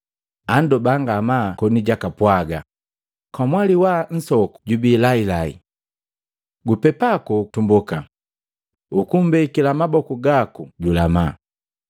andoba ngamaa koni jwakapwaga, “Kamwali wa nsoku jubii lailai. Gupepa koku tumboka, ukumbekila maboku gaku julama.”